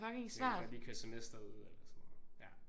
Man kunne godt lige køre semesteret ud eller sådan noget